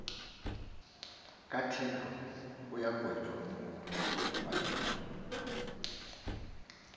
kathixo uyamgweba umntu